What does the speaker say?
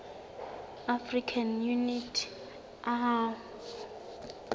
african unity oau